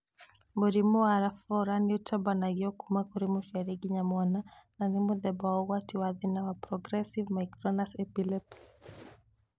Mũrimũ wa Lafora nĩũtambanagio kuma kũrĩ mũciari nginya mwana, na nĩ mũthemba ũgwati wa thĩna wa progressive myoclonus epilepsy.